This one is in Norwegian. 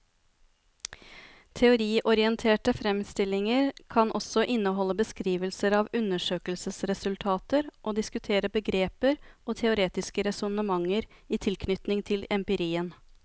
Teoriorienterte fremstillinger kan også inneholde beskrivelser av undersøkelsesresultater og diskutere begreper og teoretiske resonnementer i tilknytning til empirien.